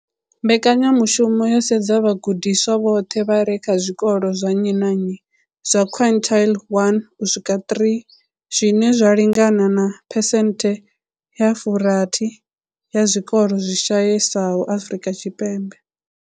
Mbekanyamushumo yo sedza vhagudiswa vhoṱhe vha re kha zwikolo zwa nnyi na nnyi zwa quintile 1 u swika 3, zwine zwa lingana na phesenthe dza 60 ya zwikolo zwi shayesaho Afrika Tshipembe.